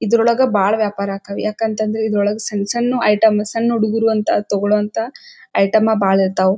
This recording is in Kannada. ಇದರೊಳಗೆ ಬಹಳ ವ್ಯಾಪಾರ ಆಕ್ಕವ. ಯಾಕಂತಂದ್ರ ಇದರೊಳಗ ಸಣ್ಣ ಸಣ್ಣ ಐಟಂ ಸಣ್ಣ ಹುಡುಗರು ಅಂತ ತಗೋಳೋ ಅಂತ ಐಟಂ ಬಹಳ ಇರ್ತಾವು.